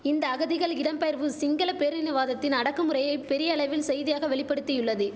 இந்த அகதிகள் இடம்பெயர்வு சிங்கள பேரினவாதத்தின் அடக்குமுறையை பெரியளவில் செய்தியாக வெளிபடுத்தியுள்ளது